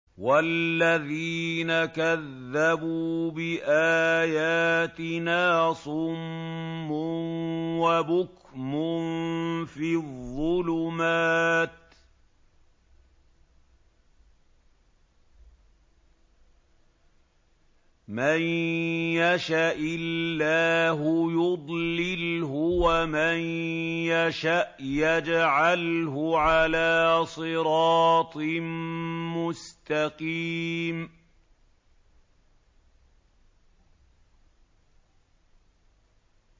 وَالَّذِينَ كَذَّبُوا بِآيَاتِنَا صُمٌّ وَبُكْمٌ فِي الظُّلُمَاتِ ۗ مَن يَشَإِ اللَّهُ يُضْلِلْهُ وَمَن يَشَأْ يَجْعَلْهُ عَلَىٰ صِرَاطٍ مُّسْتَقِيمٍ